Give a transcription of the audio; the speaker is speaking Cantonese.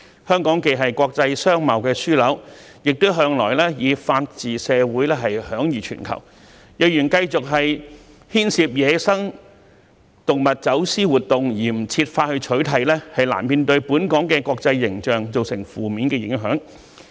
香港既是國際商貿樞紐，亦向來以法治社會享譽全球，如果繼續牽涉於野生動物走私活動而不設法取締，本港國際形象難免受到負面影響。